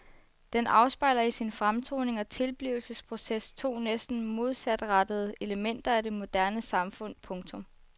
Den afspejler i sin fremtoning og tilblivelsesproces to næsten modsatrettede elementer af det moderne samfund. punktum